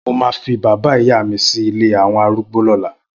Mó mà fi bàbá ìyá mi si ilé awọn árùgbó lọ̀là